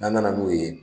N'an nana n'o ye